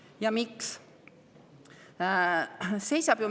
Ja miks?